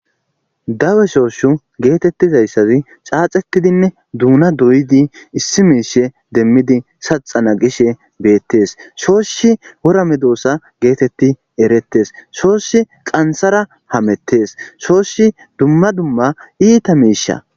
dawe shooshu geetettizayssazi xaaxetidinne duuna doyidi issi miishe demmidi saxana gishe beettes shoosshi wora medoosa geetetti erettes shoossi qansara hamettes shoossi dumma dumma iita miisha